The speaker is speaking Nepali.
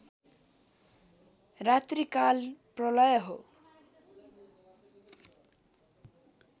रात्रिकाल प्रलय हो